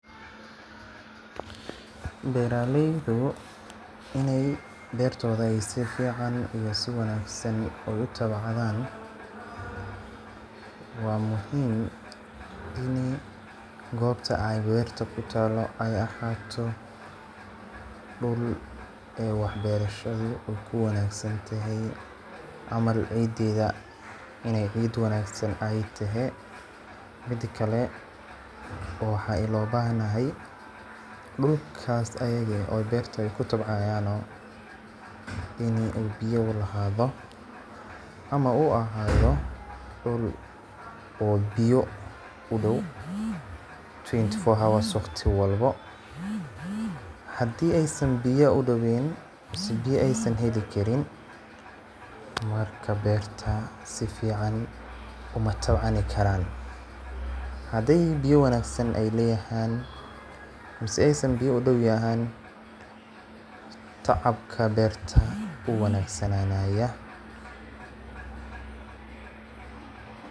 beraleydu inay bertoda ay si fican iyo sii wanaagsan u tabcadan waa muhim ini gobta ay berta kutaalo ay ahaato dhul ee wax berashadu ay ku wanaagsantahay camal cideeda inay cid wanaagsan ay tehe. Midakale waxaa ilo bahnahay dhulkaas ayaga eh oo ay bertu kutabcayano ini ay biya ulahaado ama uu ahaado dhul oo biya udhow twenty four hours waqti walbo. hadii ay san biya udhoween mise biya aysan heli karin marka berta si fican uma tabcani karaan. Hadi biya wanaagsan ay leyahan mise aysan biya udhow yahan tacabka berta wuu wanagsananaya